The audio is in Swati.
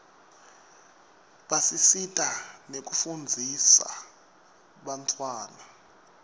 basisita nekufundzisa bantfwana